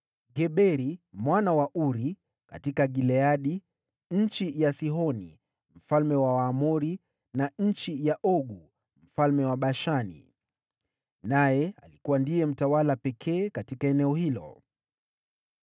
Geberi mwana wa Uri: katika Gileadi (nchi ya Sihoni mfalme wa Waamori na nchi ya Ogu mfalme wa Bashani). Naye alikuwa ndiye mtawala pekee katika eneo hilo.